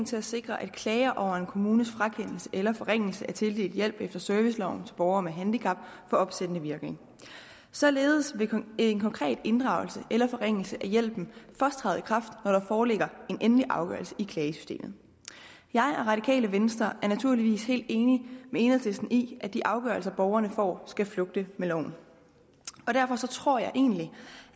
til at sikre at klager over en kommunes frakendelse eller forringelse af tildelt hjælp efter serviceloven til borgere med handicap får opsættende virkning således vil en konkret inddragelse eller forringelse af hjælpen først træde i kraft når der foreligger en endelig afgørelse i klagesystemet jeg og radikale venstre er naturligvis helt enige med enhedslisten i at de afgørelser borgerne får skal flugte med loven og derfor tror jeg egentlig